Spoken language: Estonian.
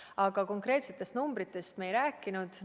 Aga konkreetsetest numbritest me ei rääkinud.